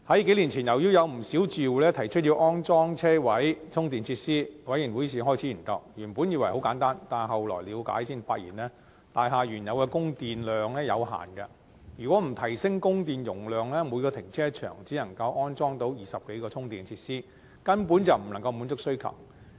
數年前，由於有不少住戶提出要安裝車位充電設施，業委會於是開始研究，原本以為很簡單，但了解後才發現大廈的原有供電量有限，如果不提升供電容量，每個停車場只能安裝約20多個充電設施，根本不能滿足需求。